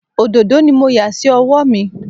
Òdòdó ni mo yà sí ọwọ́ mi